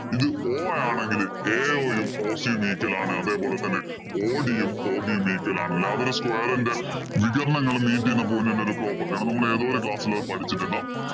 ഇത് o ആണെങ്കില്‍ ao യും bc യും meet ഇലാണ്. അതേപോലെ തന്നെ ob യും, od യും meet ഇലാണ്. അതൊരു square ഇന്‍റെ വികിരിണങ്ങളും meet ചെയ്യുന്ന point ഇന്‍റെ ഒരു property ആണ്. നമ്മള്‍ ഏതോ ഒരു class ഇല്‍ അത് പഠിച്ചിട്ടുണ്ട്.